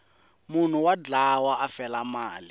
munhu wa dlawa a fela mali